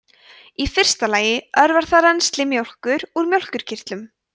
í fyrsta lagi örvar það rennsli mjólkur úr mjólkurkirtlum